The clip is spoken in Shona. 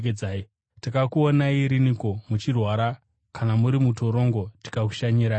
Takakuonai riniko muchirwara kana muri mutorongo tikakushanyirai?’